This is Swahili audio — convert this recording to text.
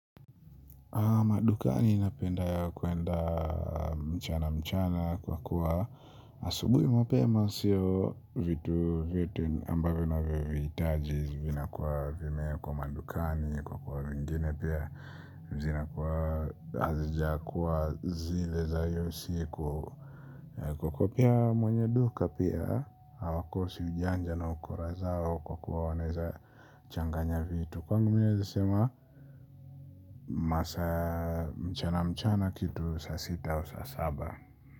Madukani napenda ya kuenda mchana mchana kwa kuwa asubui mapema masio vitu vitu ambavyo na vivitaji zivina kuwa vimeekwa madukani kwa kuwa vingine pia zina kuwa hazijakuwa zile za iyo siku kwa kuwa pia mwenye duka pia hawakosi ujanja na ukora zao kwa kuwa wanaeza changanya vitu. Kwangu mi naeza sema masaa mchana mchana kitu sa sita au sa saba.